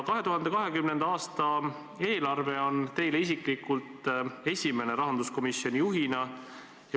2020. aasta eelarve on teile isiklikult esimene rahanduskomisjoni juhina.